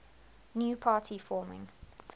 new party forming